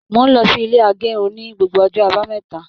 Mó n lọ sí ilé agérun ní gbogbo ọjọ́ àbámẹ́ta.